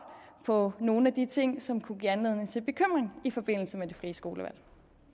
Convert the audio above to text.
på nogle af de ting som kunne give anledning til bekymring i forbindelse med det frie skolevalg